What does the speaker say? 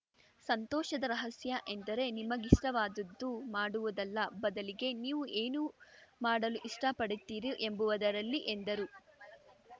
ಸಂತೋಷದ ರಹಸ್ಯ ಎಂದರೆ ನಿಮಗಿಷ್ಟವಾದದ್ದು ಮಾಡುವುದಲ್ಲ ಬದಲಿಗೆ ನೀವು ಏನು ಮಾಡಲು ಇಷ್ಟಪಡುತ್ತೀರಿ ಎಂಬುವದರಲ್ಲಿ ಎಂದರು